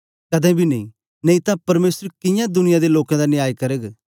कदें बी नेई नेई तां परमेसर कियां दुनिया दे लोकें दा न्याय करग